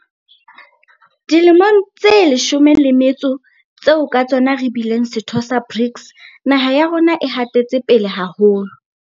Dilemong tse leshome le motso tseo ka tsona re bileng setho sa BRICS, naha ya rona e hatetse pele haholo.